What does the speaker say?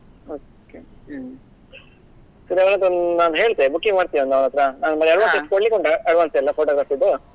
Okay hmm ಹೇಳ್ತೆ booking ಮಾಡ್ತೀಯಾ ಒಂದ್ ಅವನ್ ಹತ್ರ ಕೊಡ್ಲಿಕ್ಕುಂಟ advance ಎಲ್ಲ photography ದು.